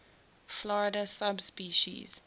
florida subspecies